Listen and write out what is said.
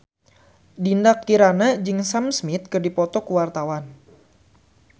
Dinda Kirana jeung Sam Smith keur dipoto ku wartawan